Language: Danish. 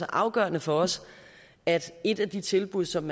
afgørende for os at et af de tilbud som